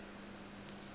nkhotfwetjeni